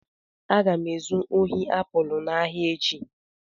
Aga m ezu ohi apụl n'ahịa echi.